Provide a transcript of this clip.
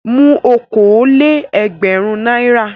Mú okòó-lé-ẹgbẹ̀rún náírà!